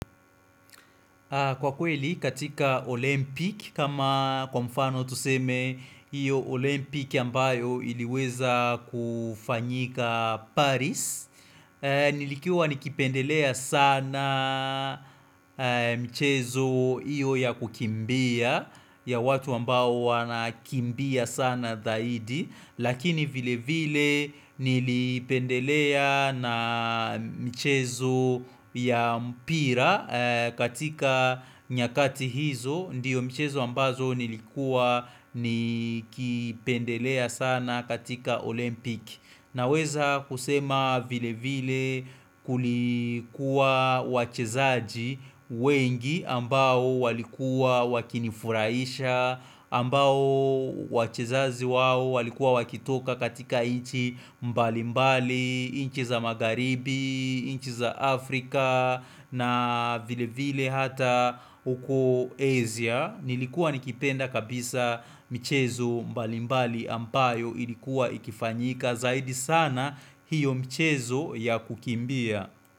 Kwa kweli katika Olympic kama kwa mfano tuseme iyo Olympic ya ambayo iliweza kufanyika Paris Nilikuwa nikipendelea sana mchezo iyo ya kukimbia ya watu ambao wanakimbia sana dhahidi Lakini vile vile nilipendelea na michezo ya mpira katika nyakati hizo Ndiyo michezo ambazo nilikuwa nikipendelea sana katika olympic Naweza kusema vile vile kulikuwa wachezaji wengi ambao walikuwa wakinifurahisha ambao wachezaji wao walikuwa wakitoka katika nchi mbali mbali, inchi za magharibi, inchi za Afrika na vile vile hata huko Asia Nilikuwa nikipenda kabisa michezo mbali mbali ambayo ilikuwa ikifanyika zaidi sana hiyo mchezo ya kukimbia.